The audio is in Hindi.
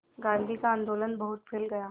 गांधी का आंदोलन बहुत फैल गया